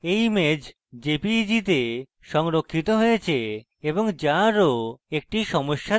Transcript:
এই image jpeg তে সংরক্ষিত হয়েছে এবং যা আরো একটি সমস্যা দেয়